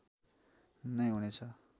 नै हुने छ